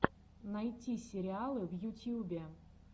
найти сериалы в ютьюбе